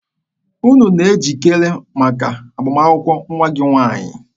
Unu na-ejikere maka agbamakwụkwọ nwa gị nwaanyị?